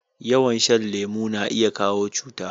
Yawan shan lemo na iya kawo cuta